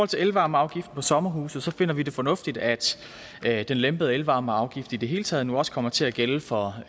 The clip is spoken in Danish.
til elvarmeafgiften på sommerhuse finder vi det fornuftigt at at den lempede elvarmeafgift i det hele taget nu også kommer til at gælde for